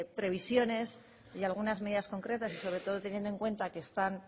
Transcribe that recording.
previsiones y algunas medidas concretas y sobre todo teniendo en cuenta que están